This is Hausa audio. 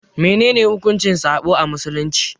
Menene hukuncin sabo a Musulunci?